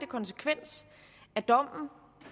konsekvens af dommen